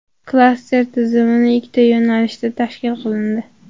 Klaster tizimi ikkita yo‘nalishda tashkil qilindi.